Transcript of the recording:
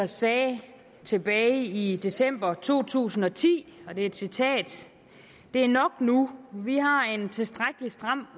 sagde tilbage i december to tusind og ti og det er et citat det er nok nu vi har en tilstrækkelig stram